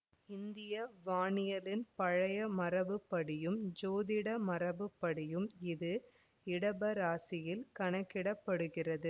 இந்திய வானியலின் பழைய மரபுப்படியும் ஜோதிடமரபுப்படியும் இது இடபராசியில் கணக்கிடப்படுகிறது